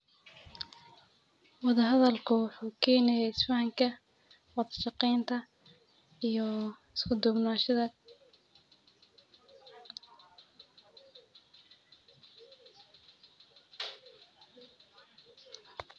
Wada hadal wuxuu kenaya is fahanka, wada shaqeynta iyo isku dubnashaha bulshada